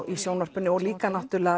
í sjónvarpinu og líka